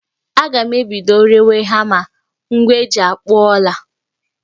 Aga m ebido rewe hama, ngwa eji akpụ ọla